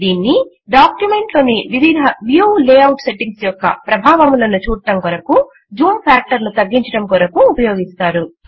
దీన్ని డాక్యుమెంట్ లోని వివిధ వ్యూ లేఆఉట్ సెట్టింగ్స్ యొక్క ప్రభావములను చూడడము కొరకు జూమ్ ఫాక్టర్ ను తగ్గించడము కొరకు ఉపయోగిస్తారు